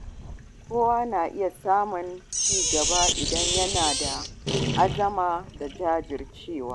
Kowa na iya samun ci gaba idan yana da azama da jajircewa.